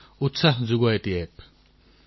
বহু ব্যৱসায়িক এপ আছে গেমৰ এপ আছে